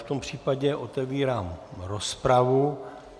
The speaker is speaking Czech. V tom případě otevírám rozpravu.